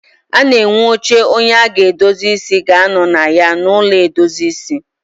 A na enwe oche onye a ga-edozi ịsị ga anọ na ya n'ụlọ edozi ịsị